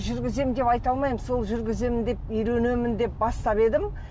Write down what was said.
жүргіземін деп айта алмаймын сол жүргіземін деп үйренемін деп бастап едім